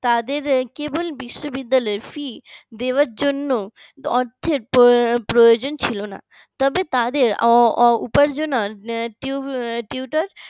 তাদের কেবল বিশ্ববিদ্যালয়ের fee দেওয়ার জন্য অর্থের প্রয়োজন ছিল না। তবে তাদের উপার্জনের tutor